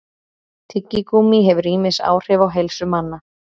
tyggigúmmí hefur ýmis áhrif á heilsu manna